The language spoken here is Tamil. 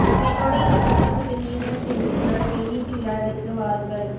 என்னோடு இந்த சந்தோஷத்தை நீங்களும் சேர்ந்து கொண்டாட வெளியீட்டு விழாவிற்கு வாருங்கள்